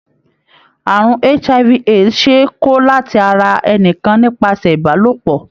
Àrùn HIV/AIDS ṣe é kó láti ara ẹnìkan nípasẹ̀ Ìbálòpọ̀.